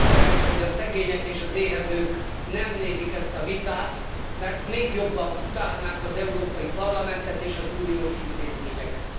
Még az a szerencse, hogy a szegények és az éhezők nem nézik ezt a vitát, mert még jobban utálnák az Európai Parlamentet és az uniós intézményeket.